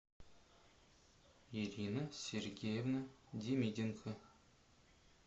ирина сергеевна демиденко